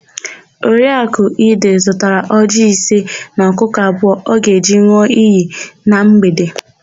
Oriakụ Ide zụtara ọjịị ise na ọkụkụ abụọ ọ ga-eji n̄ụọ iyi na mgbede.